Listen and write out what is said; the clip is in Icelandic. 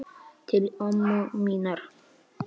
Til ömmu minnar.